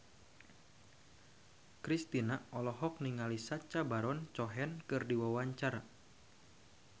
Kristina olohok ningali Sacha Baron Cohen keur diwawancara